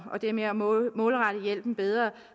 det med at målrette hjælpen bedre